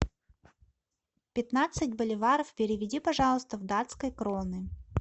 пятнадцать боливаров переведи пожалуйста в датской кроны